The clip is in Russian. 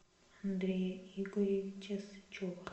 андрея игоревича сычева